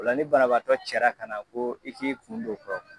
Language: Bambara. Ola ni banabaatɔ cara ka na ko i k'i kun don o kɔrɔ